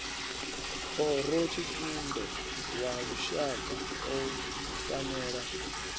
khorotshitumbe wa lushaka u fanela